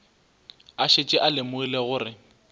a šetše a lemogile gore